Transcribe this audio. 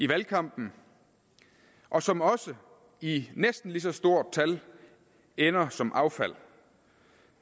valgkamp og som også i næsten lige så stort tal ender som affald